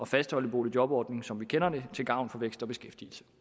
fastholde boligjobordningen som vi kender den til gavn for vækst og beskæftigelse